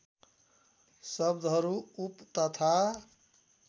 शब्दहरू उप तथा